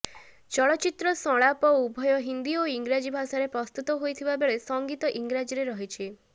ଚଳଚ୍ଚିତ୍ର ସଂଳାପ ଉଭୟ ହିନ୍ଦୀ ଓ ଇଂରାଜୀ ଭାଷାରେ ପ୍ରସ୍ତୁତ ହୋଇଥିବାବେଳେ ସଙ୍ଗୀତ ଇଂରାଜୀରେ ରହିଛି